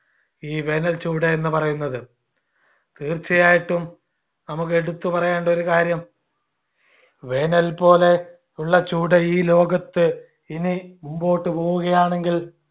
ഈ വേനൽചൂട് എന്ന് പറയുന്നത് തീർച്ചയായിട്ടും നമുക്ക് എടുത്തു പറയേണ്ട ഒരു കാര്യം വേനൽ പോലെ ഉള്ള ചൂട് ഈ ലോകത്ത് ഇനി മുൻപോട്ടുപോവുകയാണെങ്കിൽ